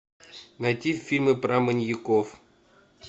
найти фильмы про маньяков